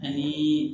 Ani